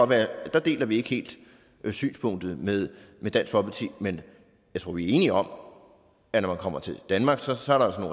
der deler vi ikke helt synspunkt med med dansk folkeparti men jeg tror vi er enige om at når man kommer til danmark så så er der